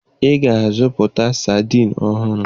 Ị ga-azụta sadiin ọhụrụ!